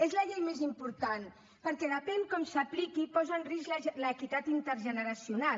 és la llei més important perquè depèn com s’apliqui posa en risc l’equitat intergeneracional